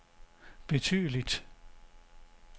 betydeligt